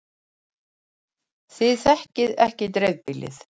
Þið þekkið ekki dreifbýlið.